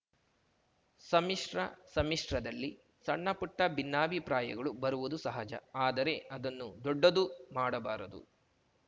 ಸಮ್ಮಿಶ್ರ ಸಮ್ಮಿಶ್ರದಲ್ಲಿ ಸಣ್ಣಪುಟ್ಟಭಿನ್ನಾಭಿಪ್ರಾಯಗಳು ಬರುವುದು ಸಹಜ ಆದರೆ ಅದನ್ನು ದೊಡ್ಡದು ಮಾಡಬಾರದು